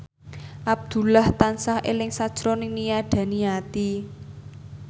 Abdullah tansah eling sakjroning Nia Daniati